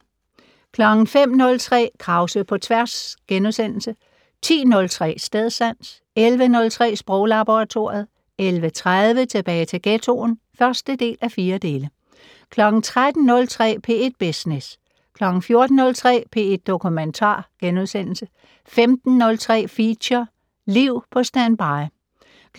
05:03: Krause på tværs * 10:03: Stedsans 11:03: Sproglaboratoriet 11:30: Tilbage til ghettoen (1:4) 13:03: P1 Business 14:03: P1 Dokumentar * 15:03: Feature: Liv på standby